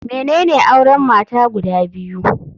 Menene auren mata guda biyu?